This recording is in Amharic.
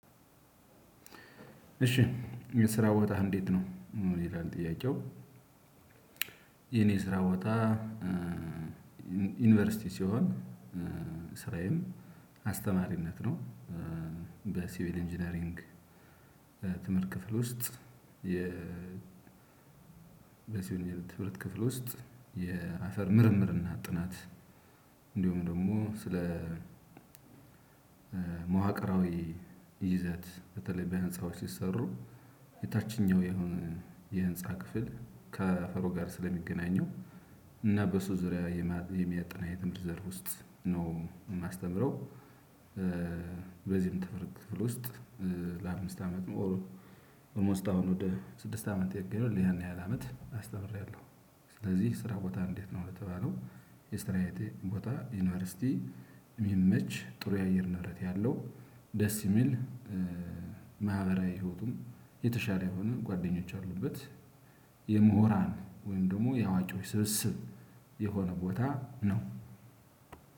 እሺ የስራ ቦታህ እንዴት ነው? ይላል ጥያቄው የኔ ስራ ቦታ ዩኒቨርሲቲ ሲሆን ስራዬም አስተማሪነት ነው። በሲቪል ኢንጂነሪንግ ትምህርት ክፍል ውስጥ በሲቪል ትምህርት ክፍል ውስጥ የአፈር ምርምር እና ጥናት እንዲሁም ደግሞ ስለ መዋቅራዊ ይዘት በተለይ በህንጻወች ሲሰሩ የታችኛው የህንጻ ክፍል ከአፈሩ ጋር ስለሚገናኘው እና በሱ ዙሪያ የሚያጠና የትምህርት ዘፍ ውስጥ ነው የማስተምረው በዚህም ትምህርት ክፍል ውስጥ ለአምስት አመት ኦልሞስት አሁን ወደ ስድስት አመት ያክላል። ይህን ያህል አመት አስተምሬያለሁ። ስለዚህ ስራ ቦታህ እንዴት ነው የተባለው የስራየ ቦታ ዩኒቨርሲቲ ሚመች ጥሩ የአየር ንብረት ያለው ደስ የሚል ማህበራዊ ህይዎቱም የተሻለ የሆነ ጓደኞች ያሉበት የምሁራን ወይም ደግሞ የአዋቂዎች ስብስብ የሆነ ቦታ ነው።